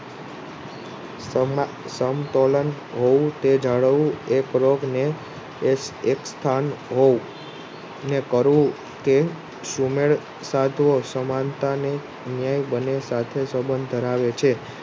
સમતોલન હોવું તે જાળવવું એ પ્રયોગ ને એક સ્થાન હોવું ને કરવું એ સુમેળ સાધવો સમાનતાને ન્યાય બંને સાથે સબંધ ધરાવે છે.